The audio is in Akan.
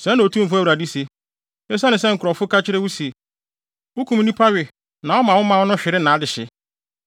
“ ‘Sɛɛ na Otumfo Awurade se: Esiane sɛ nkurɔfo ka kyerɛ wo se, “Wukum nnipa we na woma wo man no hwere nʼadehye,”